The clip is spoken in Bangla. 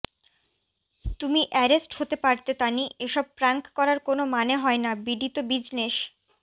তুমি অ্যারেস্ট হতে পারতে তানি এসব প্রাঙ্ক করার কোন মানে হয় না বিডি তো বিজনেস